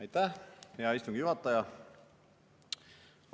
Aitäh, hea istungi juhataja!